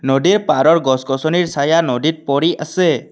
নদীৰ পাহাৰৰ গছ গছনিৰ চায়া নদীত পৰি আছে।